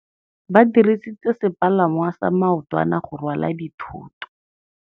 Ba dirisitse sepalangwasa maotwana go rwala dithôtô.